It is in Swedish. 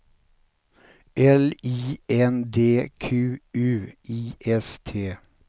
L I N D Q U I S T